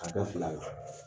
Ka kɛ fila la